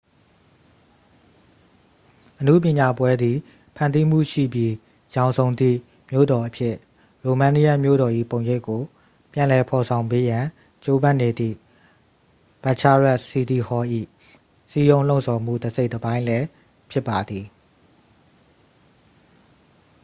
အနုပညာပွဲသည် ဖန်တီးမှုရှိပြီး ရောင်စုံသည့် မြို့တော်အဖြစ် ရိုမေးနီးယန်းမြို့တော်၏ ပုံရိပ်ကို ပြန်လည်ဖော်ဆောင်ပေးရန် ကြိုးပမ်းနေသည့် bucharest city hall ၏ စည်းရုံးလှုံ့ဆော်မှု တစ်စိတ်တစ်ပိုင်းလည်း ဖြစ်ပါသည်